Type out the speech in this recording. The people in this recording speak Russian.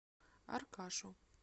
аркашу